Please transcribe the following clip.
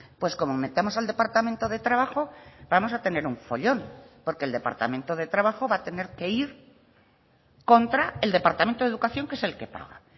pues como metamos al departamento de trabajo vamos a tener un follón porque el departamento de trabajo va a tener que ir contra el departamento de educación que es el que paga